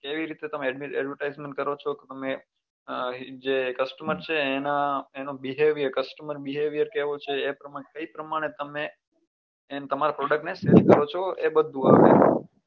કેવી રીતે તમે advertisement કરો છો કે તમે જે customer એના એનું behaviourcostemer behaviour કેવો છે એ પ્રમાણે તમારા product ને sale કરો છો એ બધું આવે